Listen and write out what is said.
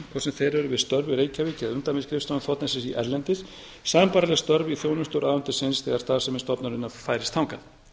hvort sem þeir eru við störf í reykjavík eða umdæmisskrifstofum þ s s í erlendis sambærileg störf í þjónustu ráðuneytisins þegar starfsemi stofnunarinnar færist þangað